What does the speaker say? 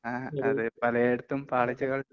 ങാ..അത് പലയിടത്തും പാളിച്ചകൾ...